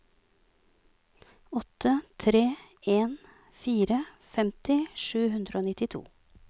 åtte tre en fire femti sju hundre og nittito